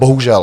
Bohužel.